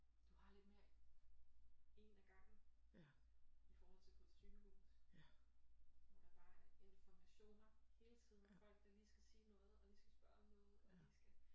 Du har lidt mere en ad gangen i forhold til på et sygehus hvor der bare er informationer hele tiden med folk der lige skal sige noget og lige skal spørge om noget og lige skal